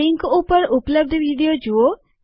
આ લીંક ઉપર ઉપલબ્ધ વિડીઓ જુઓ